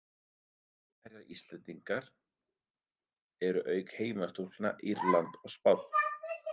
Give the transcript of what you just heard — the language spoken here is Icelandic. Mótherjar Íslendingar eru, auk heimastúlkna, Írland og Spánn.